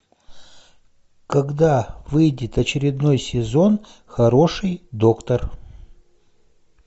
когда выйдет очередной сезон хороший доктор